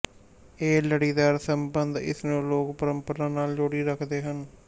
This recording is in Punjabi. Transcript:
ਇਹ ਲੜੀਦਾਰ ਸਬੰਧ ਇਸਨੂੰ ਲੋਕ ਪਰੰਪਰਾ ਨਾਲ ਜੋੜੀ ਰੱਖਦੇ ਹਨ